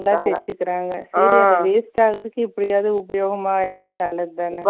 Waste ஆகுறதுக்கு, எப்படியாவது உபயோகமா இருந்தா, நல்லதுதானே?